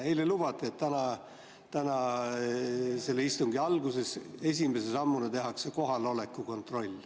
Eile lubati, et täna tehakse istungi alguses esimese sammuna kohaloleku kontroll.